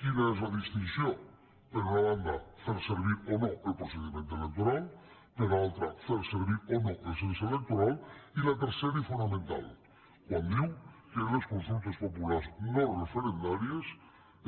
quina és la distinció per una banda fer servir o no el procediment electoral per altra fer servir o no el cens electoral i la tercera i fonamental quan diu que en les consultes populars no referendàries